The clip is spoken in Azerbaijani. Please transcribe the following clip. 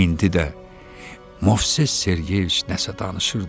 İndi də Movses Sergeyeviç nəsə danışırdı.